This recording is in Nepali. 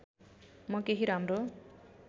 म केही राम्रो